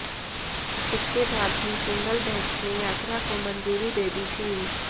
इसके बाद भी सिंगल बेंच ने यात्रा को मंजूरी दे दी थी